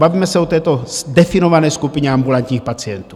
Bavíme se o této definované skupině ambulantních pacientů.